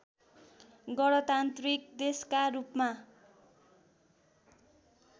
गणतान्त्रिक देशकारूपमा